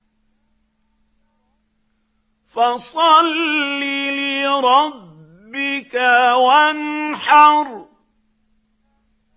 فَصَلِّ لِرَبِّكَ وَانْحَرْ